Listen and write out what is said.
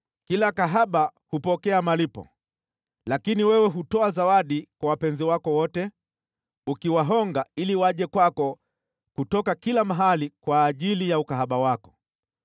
Kila kahaba hupokea malipo, lakini wewe hutoa zawadi kwa wapenzi wako wote, ukiwahonga ili waje kwako kutoka kila mahali kwa ajili ya ukahaba wako.